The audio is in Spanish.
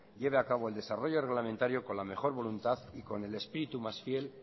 lleve a cabo el desarrollo reglamentario con la mejor voluntad y con el espíritu más fiel